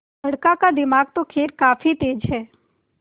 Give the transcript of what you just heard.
बड़का का दिमाग तो खैर काफी तेज है